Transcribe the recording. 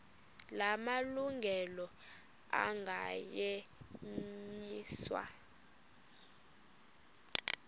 la malungelo anganyenyiswa